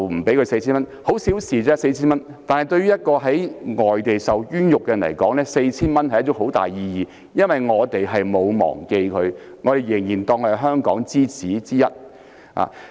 派發 4,000 元只是小事，但對於在外地受冤獄的人來說意義重大。這表示我們沒有忘記他，仍然把他當作是"香港之子"之一。